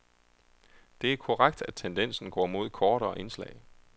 Det er korrekt, at tendensen går mod kortere indslag.